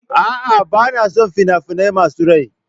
A'a, ba na son fina-finai masu rai.